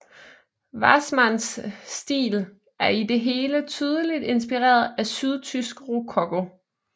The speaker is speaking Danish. Wassmanns stil er i det hele tydeligt inspireret af sydtysk rokoko